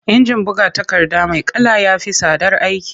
Injin buga takarda mai kala ya fi tsadar aiki.